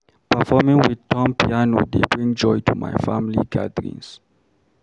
Performing with thumb piano dey bring joy to my family gatherings.